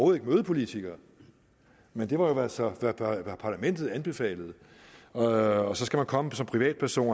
vil møde politikere men det var jo altså hvad parlamentet anbefalede og så skal man komme som privatperson